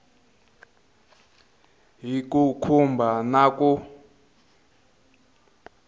hi ku khumba na ku